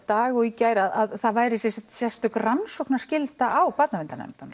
dag og í gær að það væri sem sagt sérstök rannsóknarskylda á barnaverndarnefndunum